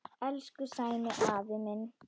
Elsku Sæmi afi minn.